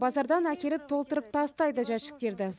базардан әкеліп толтырып тастайды жәшіктерді